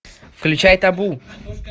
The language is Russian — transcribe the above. включай табу